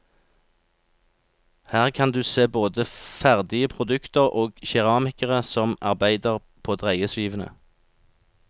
Her kan du se både ferdige produkter og keramikere som arbeider på dreieskivene.